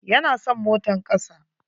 Ya na son motan kasa.